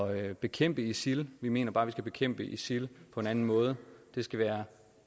at bekæmpe isil vi mener bare at vi skal bekæmpe isil på en anden måde det skal være